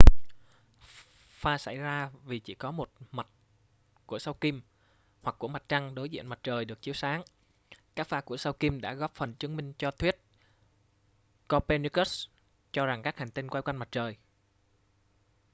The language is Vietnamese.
pha xảy ra vì chỉ có một mặt của sao kim hoặc của mặt trăng đối diện mặt trời được chiếu sáng. các pha của sao kim đã góp phần chứng minh cho thuyết copernicus cho rằng các hành tinh quay quanh mặt trời